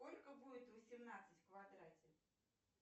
сколько будет восемнадцать в квадрате